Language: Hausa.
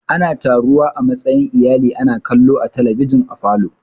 Ana taruwa a matsayin iyali ana kallon talabijin a falo.